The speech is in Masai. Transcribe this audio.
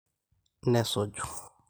Nesuju.